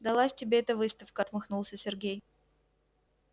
далась тебе эта выставка отмахнулся сергей